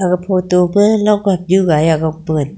ag photo photo ma longham nyu gaiya gongpe ngan--